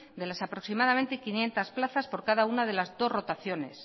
de las aproximadamente quinientos plazas por cada una de las dos rotaciones